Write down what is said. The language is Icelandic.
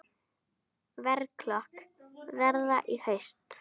Verklok verða í haust.